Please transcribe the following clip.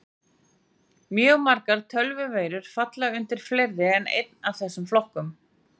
Mjög margar tölvuveirur falla undir fleiri en einn af þessum flokkum.